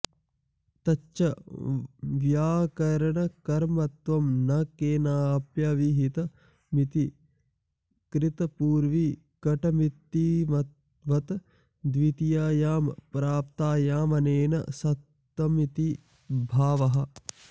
तच्च व्याकरणकर्मत्वं न केनाप्यभिहितमिति कृतपूर्वी कटमितिवत् द्वितीयायां प्राप्तायामनेन सप्तमीति भावः